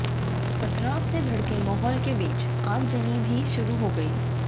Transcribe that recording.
पथराव से भड़के माहौल के बीच आगजनी भी शुरू हो गई